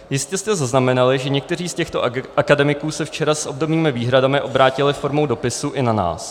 Jistě jste zaznamenali, že někteří z těchto akademiků se včera s obdobnými výhradami obrátili formou dopisu i na nás.